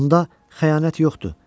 Onda xəyanət yoxdur.